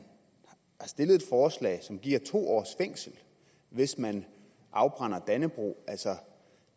stillet et forslag som giver to års fængsel hvis nogen afbrænder dannebrog